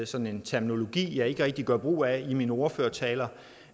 sådan en terminologi jeg ikke rigtig gør brug af i mine ordførertaler